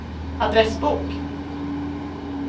adressbok